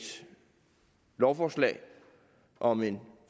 lovforslag om en